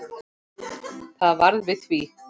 Það varð við því.